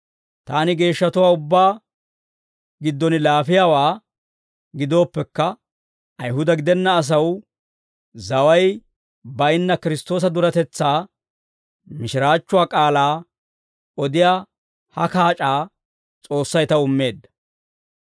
Taani geeshshatuwaa ubbaa giddon laafiyaawaa gidooppekka, Ayihuda gidenna asaw zaway bayinna Kiristtoosa duretetsaa mishiraachchuwaa k'aalaa odiyaa ha kaac'aa S'oossay taw immeedda.